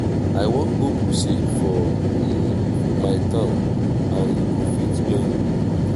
i wan go crusade for my hometown and you go fit join me